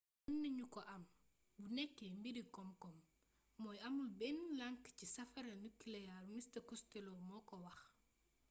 mën nañu ko am bu nekkee mbiri komkom mooy amul benn lank ci safara nuclear mr costello mooko wax